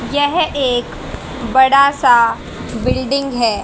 यह एक बड़ा सा बिल्डिंग है।